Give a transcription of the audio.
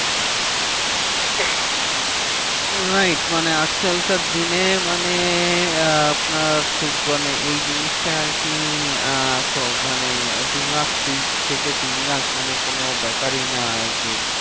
Wright মানে আজকালকার দিনে মানে আপনার খুব মানে এই জিনিসটা আরকি আহ মানে দুলাখ থেকে তিনলাখ মানে কোনো ব্যাপারই না আরকি।